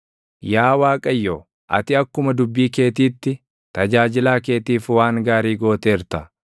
Yaa Waaqayyo, ati akkuma dubbii keetiitti, tajaajilaa keetiif waan gaarii gooteerta.